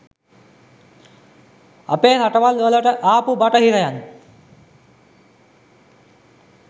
අපේ රටවල් වලට ආපු බටහිරයින්.